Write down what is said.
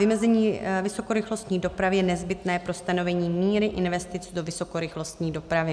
Vymezení vysokorychlostní dopravy je nezbytné pro stanovení míry investic do vysokorychlostní dopravy.